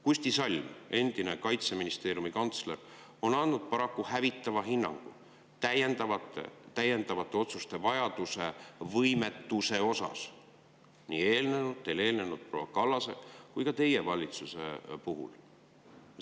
Kusti Salm, endine Kaitseministeeriumi kantsler, on andnud paraku hävitava hinnangu nii proua Kallase valitsuste kui ka teie valitsuse võimetusele langetada täiendavaid otsuseid.